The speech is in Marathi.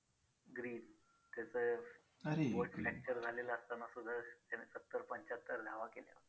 Green त्याचं बोट facture झालेलं असताना सुद्धा त्यानं सत्तर पंच्याहत्तर धावा केल्या.